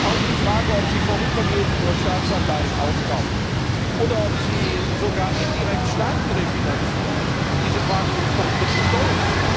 Auch die Frage, ob sie vorübergehend nur Staatsanleihen aufkauft oder ob sie sogar indirekt Staaten refinanziert, muss man kritisch stellen.